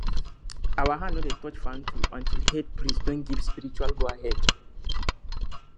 our hand no dey touch farm tool until head priest don give spiritual goahead